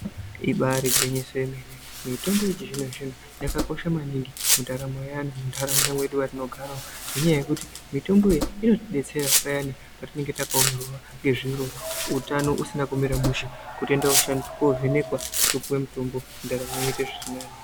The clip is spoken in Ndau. Ibari gwinyiso yemene. Mitombo yechizvino-zvino yakakosha maningi mundaramo yeanhu muntaraunda mwedu matinogara ngekuti mitombo iyi inotidetsera payani patinenge takapmeraa ngezviro utano usina kumira mushe kutoenda kovhenekwa topuwe mutombo ndaramo yoita zviri nani.